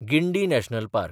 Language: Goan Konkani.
Guindy national park